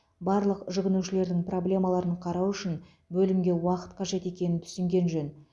барлық жүгінушілердің проблемаларын қарау үшін бөлімге уақыт қажет екенін түсінген жөн